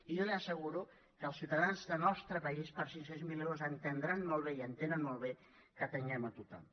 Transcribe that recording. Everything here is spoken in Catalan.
i jo li asseguro que els ciutadans del nostre país per cinc cents miler euros entendran molt bé i entenen molt bé que atenguem a tothom